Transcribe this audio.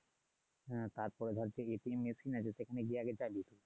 হ্যা তারপর ধর আছে সেখানে গীয়ে আগে যাবি